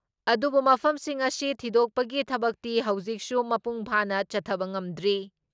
ꯑꯗꯨꯕꯨꯨ ꯃꯐꯝꯁꯤꯡ ꯑꯁꯤ ꯊꯤꯗꯣꯛꯄꯒꯤ ꯊꯕꯛꯇꯤ ꯍꯧꯖꯤꯛꯁꯨ ꯃꯄꯨꯡꯐꯥꯅ ꯆꯠꯊꯕ ꯉꯝꯗ꯭ꯔꯤ ꯫